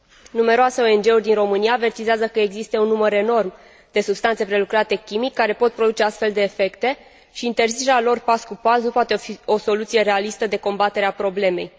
Numeroase ONG uri din România avertizează că există un număr enorm de substanțe prelucrate chimic care pot produce astfel de efecte și interzicerea lor pas cu pas nu poate fi o soluție realistă de combatere a problemei.